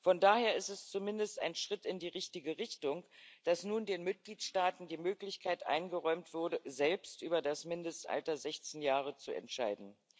Von daher ist es zumindest ein Schritt in die richtige Richtung, dass nun den Mitgliedstaaten die Möglichkeit eingeräumt wurde, selbst über das Mindestalter 16 Jahre zu entscheiden.